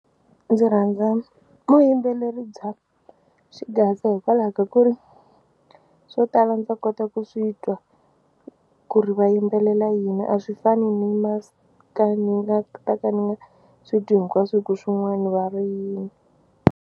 Ndzi rhandza vuyimbeleri bya xigaza hikwalaho ka ku ri swo tala ndza kota ku swi twa ku ri va yimbelela yini a swi fani ni ni nga ta ka ni nga swi twi hinkwaswo hi ku swin'wana va ri yini.